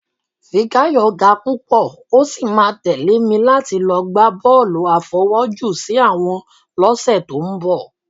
Fikáyọ̀ ga púpọ̀, ó sì máa tẹ̀lé mi láti lọ gbá bọ́ọ̀lù àfọwọ́jù-sí-àwọ̀n lọ́sẹ̀ tó ń bọ̀